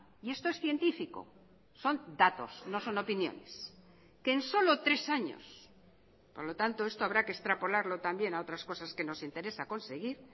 y esto es científico son datos no son opiniones que en solo tres años por lo tanto esto habrá que extrapolarlo también a otras cosas que nos interesa conseguir